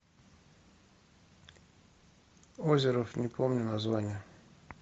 озеров не помню названия